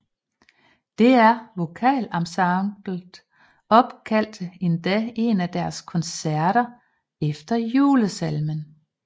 DR VokalEnsemblet opkaldte endda en af deres koncerter efter julesalmen